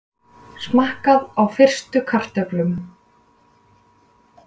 Smakkað á fyrstu kartöflunum